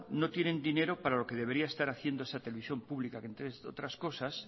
no tienen dinero para lo que debería estar haciendo esa televisión pública que entre otras cosas